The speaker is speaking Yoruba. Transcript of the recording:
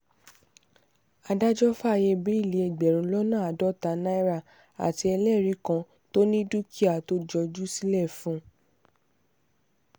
adájọ́ fàáyé bẹ́ẹ́lí ẹgbẹ̀rún lọ́nà àádọ́ta náírà àti ẹlẹ́rìí kan tó ní dúkìá tó jọjú sílẹ̀ fún un